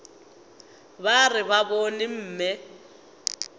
ba re ba bone mme